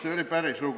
See oli päris lugu.